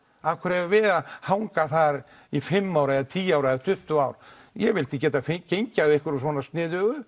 af hverju eigum við að hanga þar í fimm ár eða tíu ár eða tuttugu ár ég vil geta gengið að einhverju svona sniðugu